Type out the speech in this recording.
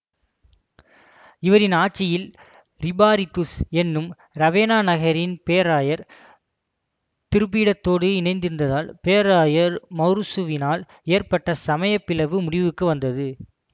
இவரின் ஆட்சியில் இரிபாரிதுஸ் என்னும் இரவேனா நகரின் பேராயர் திருப்பீடத்தோடு இணைந்ருந்ததால் பேராயர் மௌரூசுவினால் ஏற்பட்ட சமயப்பிளவு முடிவுக்கு வந்தது